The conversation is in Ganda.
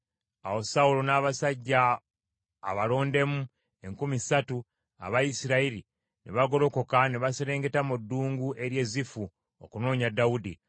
Awo Sawulo n’abasajja abolondemu enkumi ssatu aba Isirayiri, ne bagolokoka ne baserengeta mu ddungu ery’e Zifu, okunoonya Dawudi.